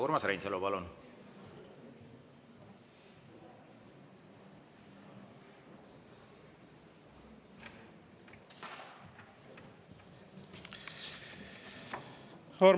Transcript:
Urmas Reinsalu, palun!